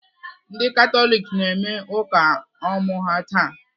Ndị Katọlik na-eme ụka ọmụ ha taa.